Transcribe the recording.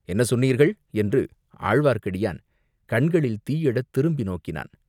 "என்ன சொன்னீர்கள்?" என்று ஆழ்வார்க்கடியான் கண்களில் தீ எழத் திரும்பி நோக்கினான்.